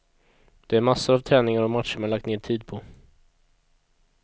Det är massor av träningar och matcher man lagt ned tid på.